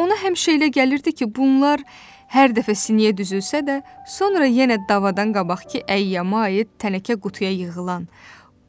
Ona həmişə elə gəlirdi ki, bunlar hər dəfə siniyə düzülsə də, sonra yenə davadan qabaqkı əyyama aid tənəkə qutuya yığılan,